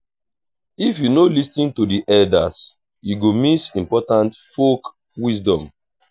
if you no lis ten to the elders you go miss important folk wisdom.